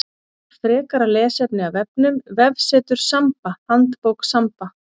Frekara lesefni af vefnum: Vefsetur Samba Handbók Samba.